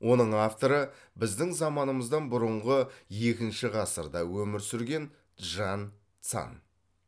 оның авторы біздің заманымыздан бұрынғы екінші ғасырда өмір сүрген чжан цан